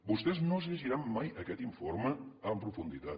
vostès no es llegiran mai aquest informe amb profunditat